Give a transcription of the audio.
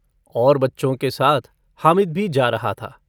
और बच्चों के साथ हामिद भी जा रहा था।